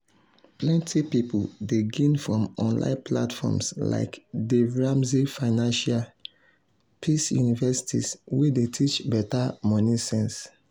plenty people dey gain from online platforms like dave ramsey financial peace university wey dey teach better money sense.